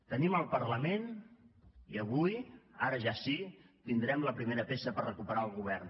tenim el parlament i avui ara ja sí tindrem la primera peça per recuperar el govern